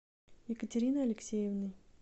екатериной алексеевной